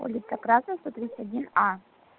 улица красная сто тридцать один а